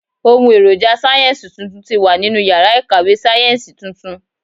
Ohùn èròjà sáyẹ́ǹsì tuntun ti wà nínú iyàrá ìkàwé sáyẹ́ǹsì tuntun